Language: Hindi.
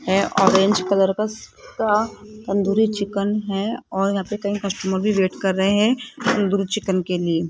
है ऑरेंज कलर का तंदूरी चिकन है और यहां पे कई कस्टमर भी वेट कर रहे हैं तंदूरी चिकन के लिए --